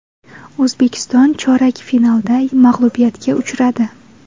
O‘zbekiston chorak finalda mag‘lubiyatga uchradi.